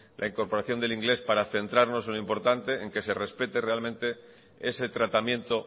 la incorporación del inglés para centrarnos en lo importante que se respete realmente ese tratamiento